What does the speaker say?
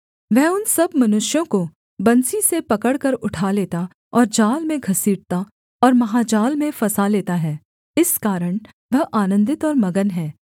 वह उन सब मनुष्यों को बंसी से पकड़कर उठा लेता और जाल में घसीटता और महाजाल में फँसा लेता है इस कारण वह आनन्दित और मगन है